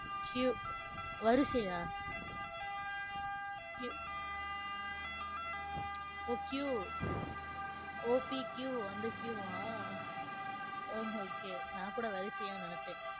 Q வரிசையா? Q ஓஹ் QOPQ அந்த Q வா? ஓ okay நான் கூட வரிசையோன்னு நினைச்சேன்.